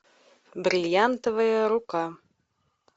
бриллиантовая рука